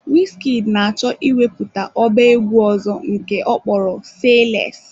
Wizkid na-achọ ịwepụta ọba egwu ọzọ nke ọkpọrọ " SAYLESS "